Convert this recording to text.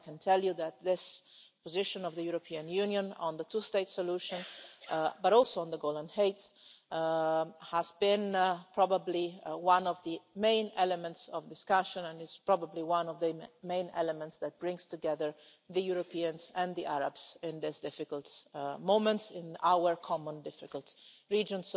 ago. I can tell you that this position of the European Union on the two state solution, but also on the Golan Heights, has been probably one of the main elements of discussion and is probably one of the main elements that brings together the Europeans and the Arabs in this difficult moment in our common difficult region.